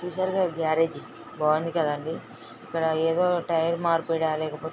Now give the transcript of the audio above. చూసారుగా ఈ బర్రజ్ బాగుంది కాదండి ఇక్కడ ఏది టైర్ మార్పిడ లేకపోతె--